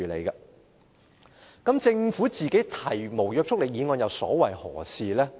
但是，政府提出無約束力議案又所為何事呢？